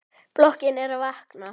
Blokkin er að vakna.